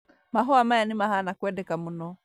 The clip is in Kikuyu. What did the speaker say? Mahũa maya nĩmahana kwendeka mũno